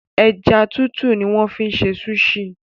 Ẹja tútù ni wọ́n fi máa ń ṣe súṣì.